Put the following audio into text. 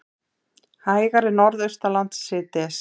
Hægari Norðaustanlands síðdegis